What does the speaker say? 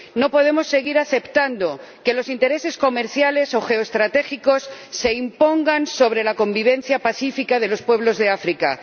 No podemos seguir aceptando que los intereses comerciales o geoestratégicos se impongan sobre la convivencia pacífica de los pueblos de África.